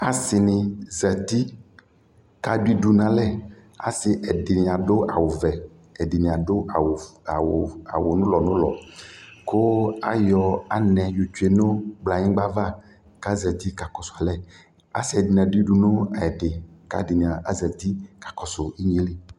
Asi ni zati kʋ adʋ idʋ nʋ alɛ Asi ɛdi adʋ awuvɛ kʋ ɛdι nι adʋ awu nulɔnulɔ kʋ ayɔ anɛ yotsue nʋ kplayigba ava kʋ azati kakɔsu alɛ Asi dι nι adu udu nʋ ɛdι kʋ ɛdι nι razati kakɔsu inye lι